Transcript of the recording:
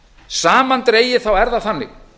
samandregið er það þannig